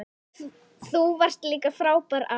Þú varst líka frábær afi.